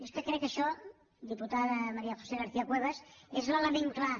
és que crec que això diputada maría josé garcia cuevas és l’element clar